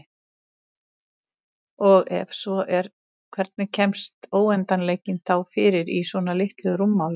Og ef svo er hvernig kemst óendanleikinn þá fyrir í svona litlu rúmmáli?